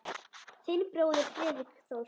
Þinn bróðir Friðrik Þór.